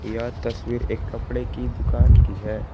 यह तस्वीर एक कपड़े की दुकान की है।